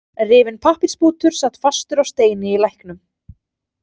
Rifinn pappírsbútur sat fastur á steini í læknum.